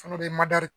Fana bɛ